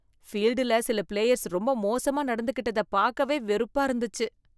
ஃபீல்டுல சில பிளேயர்ஸ் ரொம்ப மோசமா நடந்துக்கிட்டத பார்க்கவே வெறுப்பா இருந்தச்சு.